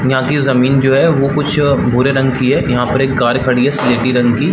यहाँ की जमीन जो है वो कुछ भूरे रंग की है यहाँ पर एक कार खड़ी है स्लेटी रंग की --